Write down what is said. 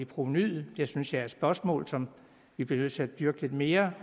provenuet det synes jeg er et spørgsmål som vi bliver nødt til at dyrke lidt mere